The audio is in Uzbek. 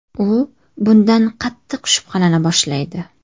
U bundan qattiq shubhalana boshlaydi.